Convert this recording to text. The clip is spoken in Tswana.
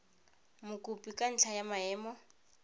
mokopi ka ntlha ya maemo